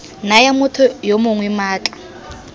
naya motho yo mongwe maatla